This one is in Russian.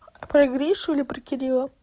про гришу или про кирилла